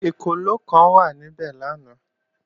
Ekòló kan wà níbẹ̀ lánàá